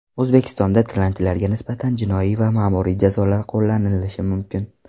O‘zbekistonda tilanchilarga nisbatan jinoiy va ma’muriy jazolar qo‘llanilishi mumkin.